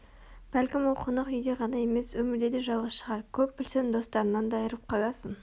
бәлкім ол қонақ үйде ғана емес өмірде де жалғыз шығар көп білсең достарыңнан да айрылып қаласың